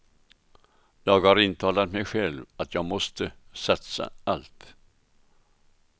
Jag har intalat mig själv att jag måste satsa allt.